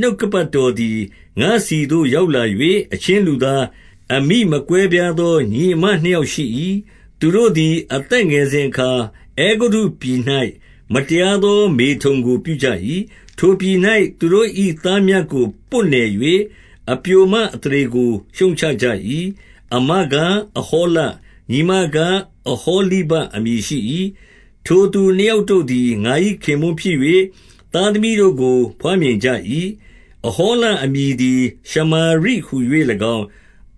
နှုတ်ကပတ်တော်သည် ငါ့ဆီသို့ရောက်လာ၍၊ 2 အချင်းလူသား၊ အမိမကွဲပြားသော ညီအစ်မ နှစ်ယောက်ရှိ၏။ 3 သူတို့သည် အသက်ငယ်စဉ်အခါ၊ အဲဂုတ္တုပြည်၌ မတရားသော မေထုန်ကို ပြုကြ၏။ ထိုပြည်၌ သူတို့၏ သားမြတ်ကို ပွတ်နယ်၍ အပျိုမအသရေကို ရှုတ်ချကြ၏။ 4 အစ်မကား၊ အဟောလ၊ ညီမကား အဟောလိဗ အမည်ရှိ၏။ ထိုသူနှစ်ယောက်တို့သည် ငါ၏ခင်ပွန်းဖြစ်၍ သားသမီးတို့ကို ဘွားမြင်ကြ၏။ အဟောလအမည်သည် ရှမာရိဟူ၍၎င်း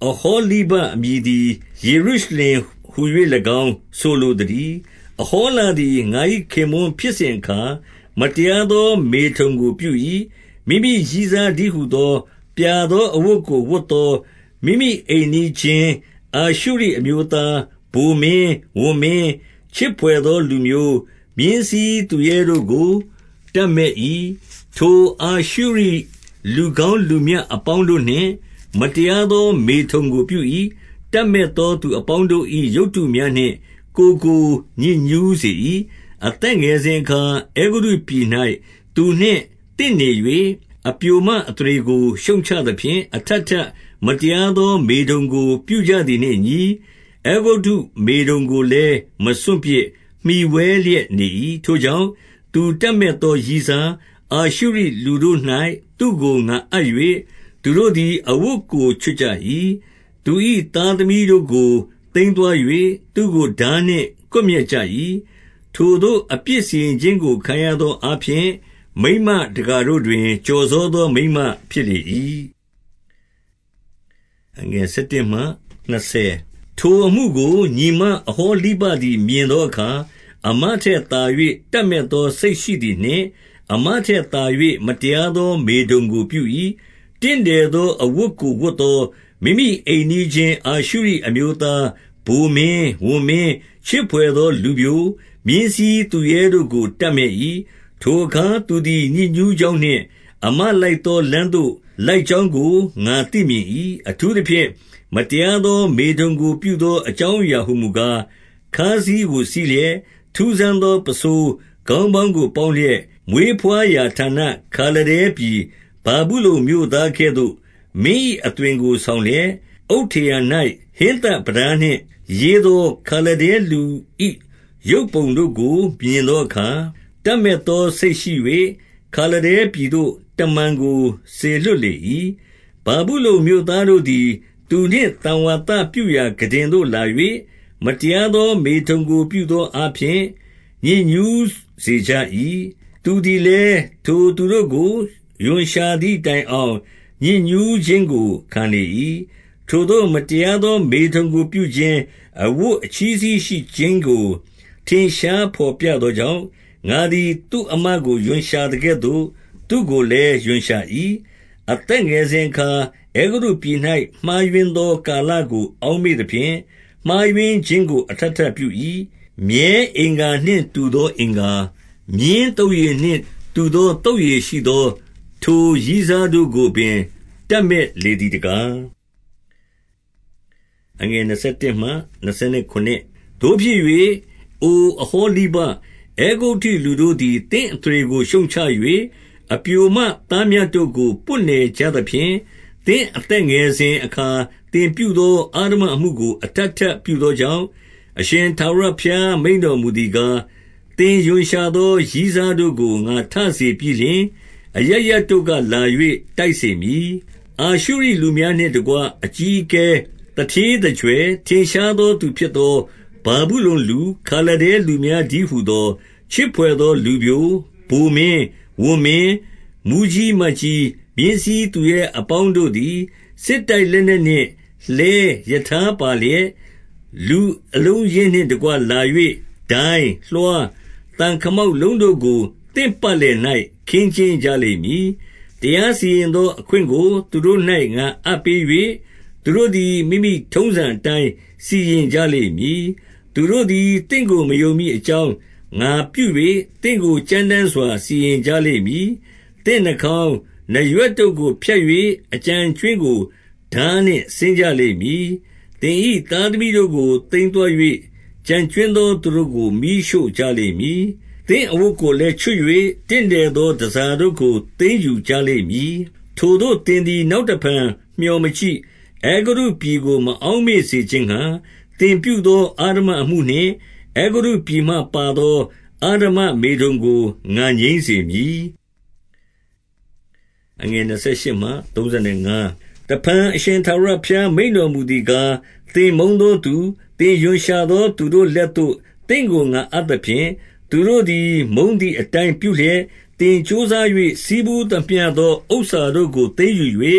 ၊ အဟောလိဗအမည်သည် ယေရုရှလင် ဟူ၍ ၎င်းဆိုလိုသတည်း။ 5 အဟောလသည် ငါ၏ခင်ပွန်းဖြစ်စဉ်အခါ၊ မတရားသော မေထုန်ကိုပြု၏။ 6 မိမိရည်းစားတည်းဟူသော၊ ပြာသောအဝတ်ကို ဝတ်သောမိမိအိမ်နီးချင်း အာရှုရိအမျိုးသား ဗိုလ်မင်း၊ ဝန်မင်း၊ ချစ်ဘွယ်သောလူပျို၊ မြင်းစီးသူရဲတို့ကို တပ်မက် ၏။ 7 ထိုအာရှုရိလူကောင်းလူမြတ်အပေါင်းတို့နှင့် မတရားသော မေထုန်ကိုပြု၏။ တပ်မက်သော သူအပေါင်းတို့၏ ရုပ်တုများနှင့် ကိုယ်ကို ညစ်ညူးစေ၏။ 8 အသက်ငယ်စဉ်အခါ အဲဂုတ္တုပြည်၌ သူနှင့် သင့်နေ၍၊ အပျိုမအသရေကို ရှုတ်ချသဖြင့်၊ အထပ်ထပ် မတရားသော မေထုန်ကိုပြုကြသည်နှင့်အညီ၊ အဲဂုတ္တု မေထုန်ကိုလည်း မစွန့်ပစ်၊ မှီဝဲလျက်နေ၏။ 9 ထိုကြောင့်၊ သူတပ်မက်သော ရည်းစား၊ အာရှုရိ လူတို့၌ သူ့ကိုငါ အပ်၍၊ 10 သူတို့သည် အဝတ်ကို ချွတ်ကြ၏။ သူ၏ သားသမီးတို့ကို သိမ်းသွား၍၊ သူ့ကိုထားနှင့် ကွပ်မျက်ကြ ၏။ ထိုသို့အပြစ်စီရင်ခြင်းကို ခံရသောအားဖြင့်၊ မိန်းမ တကာတို့တွင် ကျော်စောသောမိန်းမဖြစ်လေ၏။ 11 ထိုအမှုကို ညီမအဟောလိဗသည် မြင်သော အခါ၊ အစ်မထက်သာ၍ တပ်မက်သော စိတ်ရှိသည်နှင့်၊ အစ်မတက်သာ၍ မတရားသောမေထုန်ကို ပြု၏။ 12 တင့်တယ်သော အဝတ်ကိုဝတ်သော မိမိအိမ်နီးချင်း အာရှုရိအမျိုးသားဗိုလ်မင်း၊ ဝန်မင်း၊ ချစ်ဘွယ် သောလူပျို၊ မြင်းစီးသူရဲတို့ကို တပ်မက်၏။ 13 ထိုအခါ သူသည် ညစ်ညူးကြောင်းနှင့်၊ အစ်မ လိုက်သောလမ်းသို့ လိုက်ကြောင်းကို ငါသိမြင်၏။ 14 အထူးသဖြင့် မတရားသောမေထုန်ကို ပြုသော အကြောင်းအရာဟူမူကား၊ ခါးစည်းကိုစည်းလျက်၊ ထူးဆန်းသော ပန်းဆိုးခေါင်းပေါင်းကို ပေါင်းလျက်၊ မွေးဘွားရာဌာန ခါလဒဲပြည် ဗာဗုလုန်မြို့သားကဲ့သို့၊ မင်း၏အ သွင်ကိုဆောင်လျက်၊ 15 အုတ်ထရံ၌ဟင်းသပြတားနှင့်ရေးသော ခါလဒဲ လူ၏ ရုပ်ပုံတို့ကို မြင်သောအခါ၊ 16 တပ်မက်သောစိတ်ရှိ၍၊ ခါလဒဲပြည်သို့ တမန်ကို စေလွှတ်လေ၏။ 17 ဗာဗုလုန်မြို့သားတို့သည် သူနှင့်သံဝါသပြုရာခုတင်သို့လာ၍၊ မတရားသောမေထုန်ကို ပြုသော အားဖြင့် ညစ်ညူးစေကြ၏။ သူသည်လည်း ထိုသူတို့ကို ရွံရှာသည် တိုင်အောင်ညစ်ညူးခြင်းကိုခံလေ၏။ 18 ထိုသို့ မတရားသော မေထုန်ကိုပြုခြင်း၊ အဝတ် အချည်းစည်းရှိခြင်းကို ထင်ရှားဘော်ပြသောကြောင့်၊ ငါသည် သူအစ်မကိုရွံရှာသကဲ့သို့၊ သူ့ကိုလည်းရွံရှာ၏။ 19 အသက်ငယ်စဉ်အခါ အဲဂုတ္တုပြည်၌ မှားယွင်းသောကာလကို အောက်မေ့သဖြင့်၊ မှားယွင်းခြင်းကို အထပ်ထပ်ပြု၏။ 20 မြည်အင်္ဂါနှင့်တူသော အင်္ဂါ၊ မြင်းသုတ်ရည်နှင့် တူသောသုတ်ရည်ရှိသော ထိုရည်းစားတို့ကိုပင် တပ်မက် လေသည်တကား။ 21 သို့ဖြစ်၍၊ အိုအဟောလိဗ၊ အဲဂုတ္တုလူတို့သည် သင့်အသရေကို ရှုတ်ချ၍၊ အပျိုမသားမြတ်တို့ကို ပွတ် နယ်ကြသဖြင့်၊ သင်အသက်ငယ်စဉ်အခါ သင်ပြုသော အဓမ္မအမှုကို အထပ်ထပ်ပြုသောကြောင့်၊ 22 အရှင်ထာဝရဘုရား မိန့်တော်မူသည်ကား၊ သင်ရွံရှာသော ရည်းစားတို့ကို ငါထစေပြီးလျှင်၊ အရပ်ရပ် တို့ကလာ၍ တိုက်စေမည်။ 23 အာရှုရိလူများနှင့်တကွ အကြီးအကဲ၊ သူဌေး သူကြွယ်၊ ထင်ရှားသောသူဖြစ်သော ဗာဗုလုန်လူ၊ ခါလဒဲ လူများတည်းဟူသော၊ ချစ်ဘွယ်သော လူပျို၊ ဗိုမင်း၊ ဝန်မင်း။ မှူးကြီးမတ်ကြီး၊ မြင်းစီးသူရဲအပေါင်းတို့သည်၊ 24 စစ်တိုက်လက်နက်နှင့် လှည်းရထားပါလျက်၊ လူအလုံးအရင်းနှင့် တကွလာ၍ ဒိုင်း၊ လွှား၊ သံခမောက် လုံးတို့ကို သင့်ပတ်လည်၌ ခင်းကျင်းကြလိမ့်မည်။ တရား စီရင်သော အခွင့်ကိုသူတို့၌ငါအပ်ပေး၍၊ သူတို့သည် မိမိထုံးစံအတိုင်း စီရင်ကြလိမ့်မည်။ 25 သူတို့သည် သင့်ကို မယုံမည်အကြောင်း၊ ငါပြု၍သင့်ကို ကြမ်းတမ်းစွာ စီရင်ကြလိမ့်မည်။ သင့်နှာ ခေါင်း၊ နားရွက်တို့ကို ဖြတ်၍အကျန်အကြွင်းကိုထားနှင့် စဉ်းကြလိမ့်မည်။ သင်၏သားသမီးတို့ကို သိမ်းသွား ၍၊ ကျန်ကြွင်းသော သူတို့ကို မီးရှို့ကြ လိမ့်မည်။ 26 သင့်အဝတ်ကိုလည်းချွတ်၍၊ တင့်တယ်သော တန်ဆာတို့ကို သိမ်းယူကြလိမ့်မည်။ 27 ထိုသို့သင်သည် နောက်တဖန် မျှောမကြည့်၊ အဲဂုတ္တုပြည်ကို မအောက်မေ့စေခြင်းငှါ၊ သင်ပြုသော အဓမ္မမေထုန်ကို ငါငြိမ်းစေမည်။ 28 တဖန် အရှင်ထာဝရဘုရား မိန့်တော်မူသည် ကား၊ သင်မုန်းသောသူ၊ သင်ရွံရှာသော သူတို့လက်သို့ သင့်ကိုငါအပ်သဖြင့်၊ 29 သူတို့သည် မုန်းသည်အတိုင်းပြုလျက်၊ သင် ကြိုးစား၍ ဆည်းပူးသမျှသော ဥစ္စာတို့ကိုသိမ်းယူ၍၊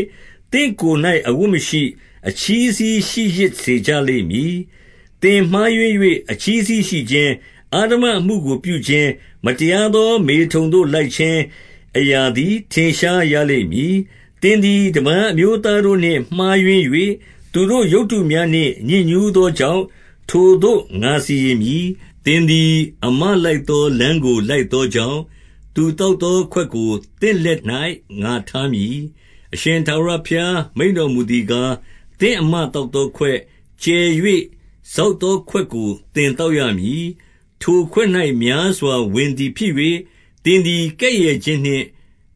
သင့်ကိုယ်၌ အဝတ်မရှိ၊ အချည်းစည်းရှိ ရစ်စေကြလိမ့်ည်။ သင်မှားယွင်း၍ အချည်းစည်းရှိခြင်း၊ အဓမ္မအမှုကို ပြုခြင်း၊ မတရားသောမေထုန်သို့ လိုက်ခြင်းအရာသည် ထင်ရှား ရလိမ့်မည်။ 30 သင်သည်တပါး အမျိုးသားတို့နှင့် မှားယွင်း၍၊ သူတို့ရုပ်တုများနှင့် ညစ်ညူးသောကြောင့်၊ ထိုသို့ ငါစီရင် မည်။ 31 သင်သည် အစ်မလိုက်သော လမ်းကိုလိုက်သော ကြောင့်၊ သူသောက်သော ခွက်ကို သင့်လက်၌ ငါထား မည်။ 32 အရှင်ထာဝရဘုရား မိန့်တော်မူသည်ကား၊ သင့် အစ်မ သောက်သောခွက်၊ ကျယ်၍စောက်သောခွက်ကို သင်သောက်ရမည်။ ထိုခွက်၌ များစွာဝင်သည်ဖြစ်၍၊ သင်သည်ကဲ့ရဲ့ခြင်းနှင့်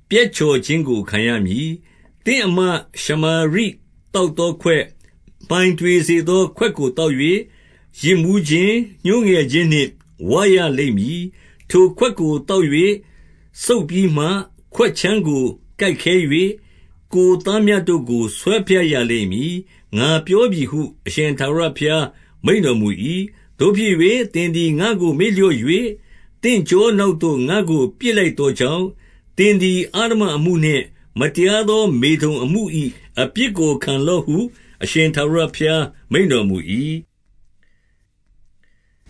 ပျက်ချော်ခြင်းကို ခံရမည်။ 33 သင့်အစ်မရှမာရိ သောက်သောခွက်၊ မှိုင်တွေ စေသော ခွက်ကို သောက်၍၊ ယစ်မူးခြင်း၊ ညှိုးငယ်ခြင်းနှင့် ဝရလိမ့်မည်။ 34 ထိုခွက်ကို သောက်၍စုတ်ပြီးမှ ခွက်ခြမ်းကို ကိုက်ခဲ၍၊ ကိုယ်သားမြတ်တို့ကို ဆွဲဖြတ်ရလိမ့်မည်။ ငါပြောပြီဟု အရှင်ထာဝရဘုရားမိန့်တော်မူ၏။ 35 သို့ဖြစ်၍၊ သင်သည် ငါ့ကို မေ့လျော့၍၊ သင့် ကျောနောက်သို့ ငါ့ကိုပစ်လိုက်သောကြောင့်၊ သင်သည် အဓမ္မအမှုနှင့်မတရားသော မေထုန်အမှု၏ အပြစ်ကို ခံလော့ဟု အရှင်ထာဝရဘုရား မိန့်တော်မူ၏။ 36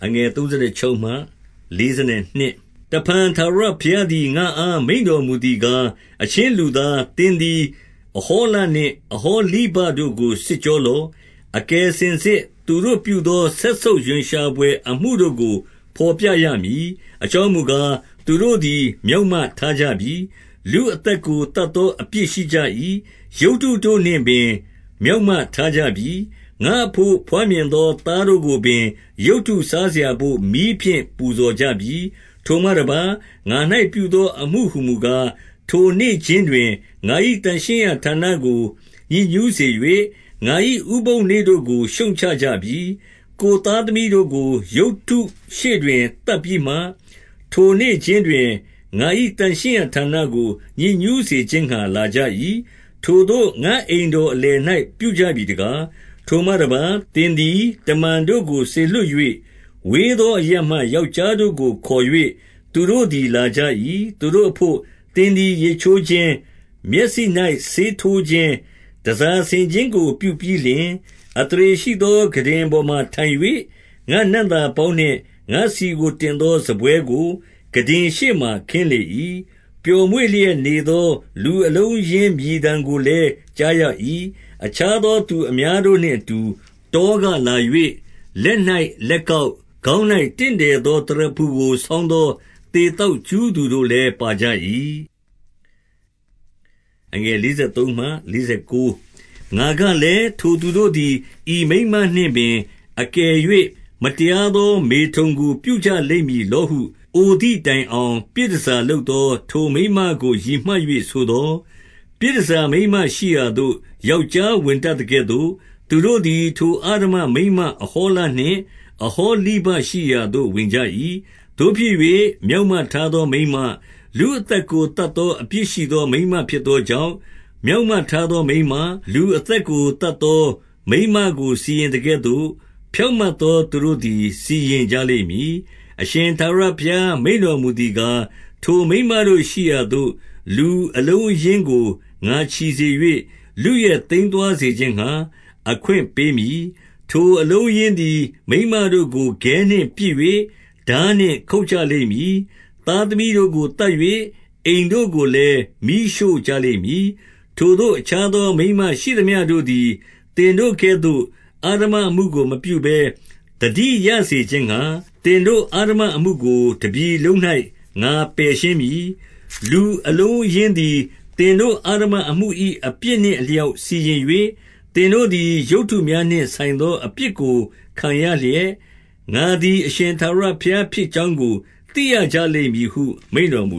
တဖန်ထာဝရဘုရားသည် ငါ့အားမိန့်တော်မူ သည်ကား၊ အချင်းလူသား၊ သင်သည်အဟောလနှင့် အဟောလိဗတို့ကို စစ်ကြောလော့။ အကယ်စင်စစ် သူတို့ ပြုသော စက်ဆုပ်ရွံရှာဘွယ်အမှုတို့ကို ဘော်ပြရမည်။ 37 အကြောင်းမူကား၊ သူတို့သည် မျောက်မထား ကြပြီ။ လူအသက်ကို သတ်သောအပြစ်ရှိကြ၏။ ရုပ်တုတို့နှင့် ပင် မျောက်မထားကြပြီ။ ငါ့အဘို့ ဘွားမြင်သောသား တို့ကိုပင် ရုပ်တုစားစရာဘို့ မီးဖြင့်ပူဇော်ကြပြီ။ 38 ထိုမှတပါး၊ ငါ၌ပြုသော အမှုဟူမူကား၊ ထိုနေ့ ခြင်းတွင်ငါ၏ သန့်ရှင်းရာဌာနကို ညစ်ညူးစေ၍၊ ငါ၏ဥပုသ်နေ့တို့ကိုရှုတ်ချကြပြီ။ 39 ကိုယ်သားသမီးတို့ကိုရုပ်တုရှေ့တွင်သတ်ပြီးမှ၊ ထိုနေ့ခြင်းတွင်ငါ၏ သန့်ရှင်းရာဌာနကို ညစ်ညူးစေခြင်းငှါ လာကြ၏။ ထိုသို့ ငါ့အိမ်တော်အလယ်၌ ပြုကြပြီတကား။ 40 ထိုမှတပါး၊ သင်သည်တမန်တို့ကို စေလွှတ်၍၊ ဝေသောအရပ်မှ ယောက်ျားတို့ကိုခေါ်၍ သူတို့သည် လာကြ၏။ သူတို့အဘို့ သင်သည် ရေချိုးခြင်း၊ မျက်စိ၌ ဆေးထိုးခြင်း၊ တန်ဆာဆင်ခြင်းကို ပြုပြီးလျှင်၊ 41 အသရေရှိသော ခုတင်ပေါ်၌ထိုင်၍၊ ငါ့နံ့သာ ပေါင်းနှင့် ငါ့ဆီကို တင်သောစားပွဲကို ခုတင်ရှေ့မှာ ခင်းလေ၏။ 42 ပျော်မွေ့လျက် နေသောလူအလုံးအရင်း မြည်သံကိုလည်း ကြားရ၏။အခြားသောသူအများတို့နှင့် အတူ တောကလာ၍၊ လက်၌လက်ကောက်၊ ခေါင်း၌ တင့်တယ်သော သရဖူကို ဆောင်းသော သေသောက် ကြူးတို့လည်း ပါကြ၏။ 43 ငါကလည်း၊ ထိုသူတို့သည် ဤမိန်းမနှင့်ပင် အကယ်၍မတရားသော မေထုန်ကို ပြုကြလိမ့်မည်လောဟု၊ အိုသည်တိုင်အောင် ပြည်တန်ဆာလုပ်သော ထိုမိန်းမကို ရည်မှတ်၍ ဆိုသော်၊ 44 ပြည်တန်ဆာမိန်းမရှိရာသို့ ယောက်ျား ဝင်တတ် သကဲ့သို့၊ သူတို့သည် ထိုအဓမ္မမိန်းမအဟောလနှင့် အဟောလိဗ ရှိရာသို့ ဝင်ကြ၏။ 45 သို့ဖြစ်၍၊ မျောက်မထားသောမိန်းမ၊ လူအသတ် ကိုသတ်သော အပြစ်ရှိသော မိန်းမဖြစ်သောကြောင့်၊ မျောက်မထားသောမိန်မ၊ လူအသက်ကိုသတ်သော် မိန်းမကို စီရင်သကဲ့သို့၊ ဖြောင့်မတ်သောသူတို့သည် စီရင်ကြ လိမ့်မည်။ 46 အရှင်ထာဝရဘုရား မိန့်တော်မူသည်ကား၊ ထိုမိန်းမရှိရာသို့ လူအလုံးအရင်းကိုငါချီစေ၍၊ လုယက် သိမ်းသွားစေခြင်းငှါ အခွင့်ပေးမည်။ 47 ထိုအလုံးအရင်းသည် မိန်းမတို့ကိုခဲနှင့် ပစ်၍၊ ထားနှင့်ခုတ်ကြလိမ့်မည်။ သားသမီးတို့ကိုသတ်၍ အိမ် တို့ကိုလည်း မီးရှို့ကြလိမ့်မည်။ 48 ထိုသို့အခြားသော မိန်းမရှိသမျှတို့သည် သင်တို့ ကဲ့သို့ အဓမ္မအမှုကိုမပြုဘဲ သတိရစေခြင်းငှါ၊ သင်တို့ အဓမ္မအမှုကို တပြည်လုံး၌ ငါပယ်ရှင်းမည်။ 49 လူအလုံးအရင်းသည် သင်တို့ အဓမ္မအမှု၏ အပြစ်နှင့်အလျောက်စီရင်၍၊ သင်တို့သည် ရုပ်တုများနှင့် ဆိုင်သော အပြစ်ကိုခံရလျက်၊ ငါသည် အရှင်ထာဝရ ဘုရားဖြစ်ကြောင်းကို သိရကြလိမ့်မည်ဟု မိန့်တော်မူ